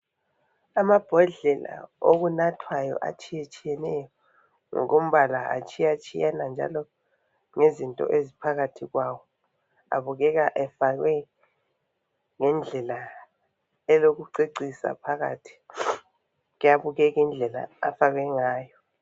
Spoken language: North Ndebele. Amabhodlela okunathwayo atshiyetshiyeneyo ngokompala atshiyatshiyana njalo ngezinto eziphakathi kwawo abukeka efakwe ngendlela elokucecisa ngaphakathi kuyabukeka indlela afakwe ngayo.